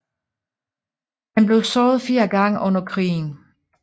Han blev såret fire gange under krigen